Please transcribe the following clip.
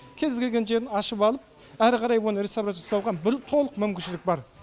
кез келген жерін ашып алып әрі қарай оны реставрация жасауға толық мүмкіншілік бар